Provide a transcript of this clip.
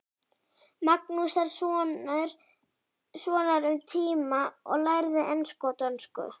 Magnússonar um tíma og lærðu ensku og dönsku.